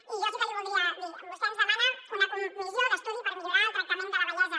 i jo sí que li voldria dir vostè ens demana una comissió d’estudi per millorar el tractament de la vellesa